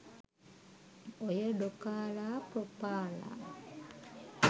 ඔය ඩොකාලා ප්‍රොපාලා